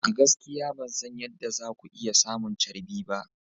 A gaskiya ban san yadda za ku iya samun charbi ba.